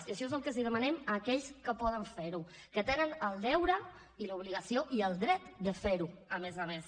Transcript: i això és el que els demanem a aquells que poden fer ho que tenen el deure i l’obligació i el dret de fer ho a més a més